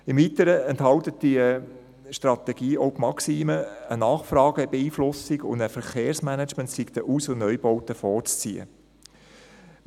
Im Weiteren enthält die Strategie auch die Maxime, wonach eine Nachfragebeeinflussung und ein Verkehrsmanagement den Aus- und Neubauten vorzuziehen seien.